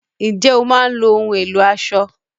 Ǹjẹ́ o máa ń lo ohùn ẹ̀lò aṣọ?